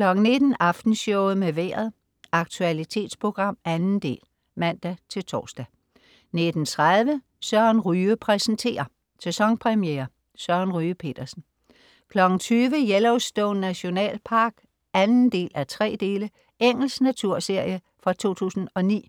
19.00 Aftenshowet med Vejret. Aktualitetsprogram, 2. del (man-tors) 19.30 Søren Ryge præsenterer. Sæsonpremiere. Søren Ryge Petersen 20.00 Yellowstone Nationalpark 2:3. Engelsk naturseire fra 2009